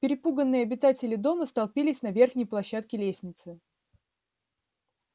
перепуганные обитатели дома столпились на верхней площадке лестницы